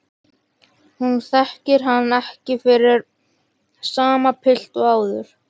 Hún þekkir hann ekki fyrir sama pilt og áður.